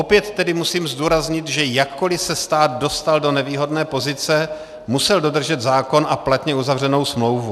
Opět tedy musím zdůraznit, že jakkoli se stát dostal do nevýhodné pozice, musel dodržet zákon a platně uzavřenou smlouvu.